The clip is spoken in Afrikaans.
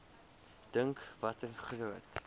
dink watter groot